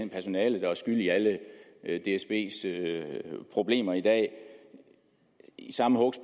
personalet der er skyld i alle dsbs problemer i dag i samme hug